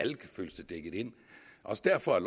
også derfor at